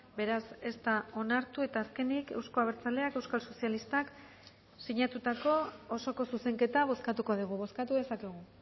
beraz ez da onartu eta azkenik euzko abertzaleak euskal sozialistak sinatutako osoko zuzenketa bozkatuko dugu bozkatu dezakegu